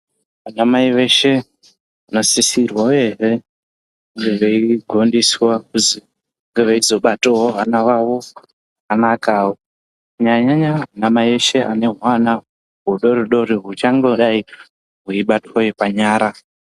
Anamai veshe vanosisirwa uyehe kunge veigondeswa kuzi vange veizobatawo vana vavo zvakanakawo kunyanya nyanya vanamai eshe ane hwana hudori dori huchangodai hweibatwe panyara.